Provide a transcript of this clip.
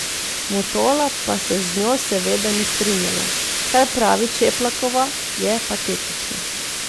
Mutola pa se z njo seveda ni strinjala: 'Kar pravi Čeplakova, je patetično.